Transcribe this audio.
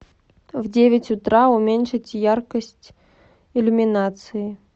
в девять утра уменьшить яркость иллюминации